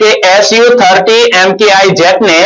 કે su thirty mki jet ને